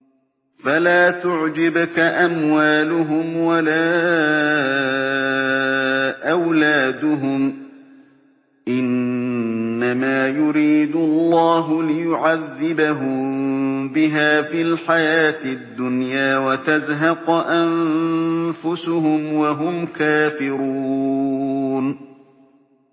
فَلَا تُعْجِبْكَ أَمْوَالُهُمْ وَلَا أَوْلَادُهُمْ ۚ إِنَّمَا يُرِيدُ اللَّهُ لِيُعَذِّبَهُم بِهَا فِي الْحَيَاةِ الدُّنْيَا وَتَزْهَقَ أَنفُسُهُمْ وَهُمْ كَافِرُونَ